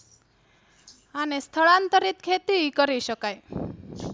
અને સ્થળાંતરિત ખેતી ઈ કરી શકાય.